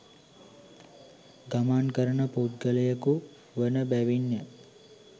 ගමන් කරන පුද්ගලයකු වන බැවින් ය.